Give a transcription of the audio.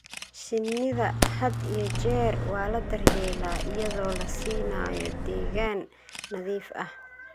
Shinnida had iyo jeer waa la daryeelaa iyadoo la siinayo deegaan nadiif ah.